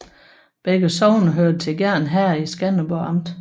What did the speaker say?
Begge sogne hørte til Gjern Herred i Skanderborg Amt